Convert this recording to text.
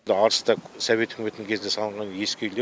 арыста совет үкіметінің кезінде салынған ескі үйлер